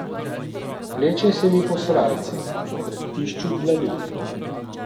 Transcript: Vleče se mi po srajci, po hrbtišču dlani.